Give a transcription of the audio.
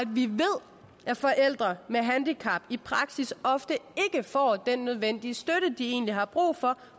vi ved at forældre med handicap i praksis ofte ikke får den nødvendige støtte de egentlig har brug for